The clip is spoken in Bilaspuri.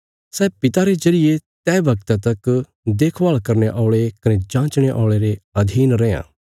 सै पिता रे जरिये तैह वगता तक देखभाल करने औल़े कने जाँचणे औल़े रे अधीन रैआं